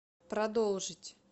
продолжить